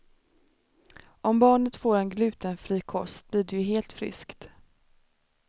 Om barnet får en glutenfri kost blir det ju helt friskt.